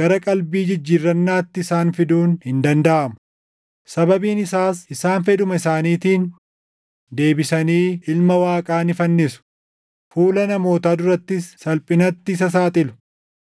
gara qalbii jijjiirrannaatti isaan fiduun hin dandaʼamu; sababiin isaas isaan fedhuma isaaniitiin deebisanii Ilma Waaqaa ni fannisu; fuula namootaa durattis salphinatti isa saaxilu.